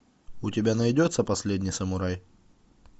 у тебя найдется последний самурай